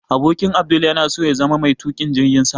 Abokin Abdul yana so ya zama mai tukin jirgin sama